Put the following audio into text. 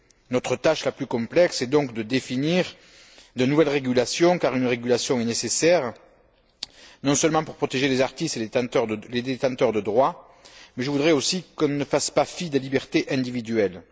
Notre tâche la plus complexe est donc de définir de nouvelles régulations, car une régulation est nécessaire non seulement pour protéger les artistes et les détenteurs de droits, mais je voudrais aussi qu'on ne fasse pas fi des libertés individuelles.